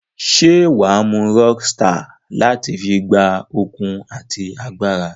Se waa mu Rockstar lati fun gba okun ati agbara?